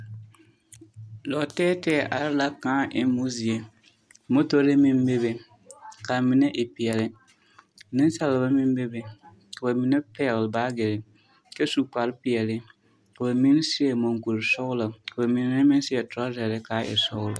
Lɔɔ tɛɛ tɛɛ are la kpᾱᾱ emmo zie, motori meŋ be be, ka amine e peɛle, nensaaba meŋ be be, ka ba mine pɛgele baagere, kyɛ su kpare peɛle, ka ba mine seɛ muŋkuri sɔglɔ, ka ba mine meŋ seɛ torɔzare ka a e sɔglɔ.